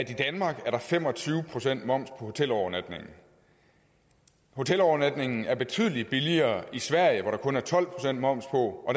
i danmark er fem og tyve procent moms på hotelovernatningen hotelovernatningen er betydelig billigere i sverige hvor der kun er tolv procent moms på og